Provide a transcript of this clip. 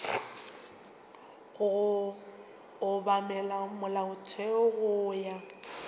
go obamela molaotheo go ya